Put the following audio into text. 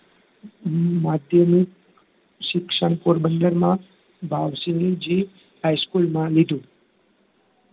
માધ્યમિક શિક્ષણ પોરબંદરમાં ભાવસિંગજી high school માં લીધું